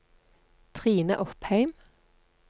Trine Opheim